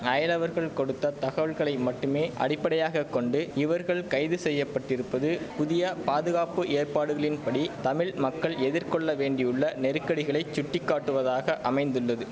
அயலவர்கள் கொடுத்த தகவல்களை மட்டுமே அடிப்படையாக கொண்டு இவர்கள் கைது செய்ய பட்டிருப்பது புதிய பாதுகாப்பு ஏற்பாடுகளின்படி தமிழ் மக்கள் எதிர்கொள்ள வேண்டியுள்ள நெருக்கடிகளை சுட்டிக்காட்டுவதாக அமைந்துள்ளது